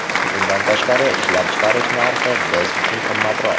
Bundan tashqari, ishlab chiqarish narxi biz uchun qimmatroq.